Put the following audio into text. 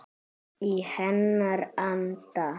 Í hennar anda.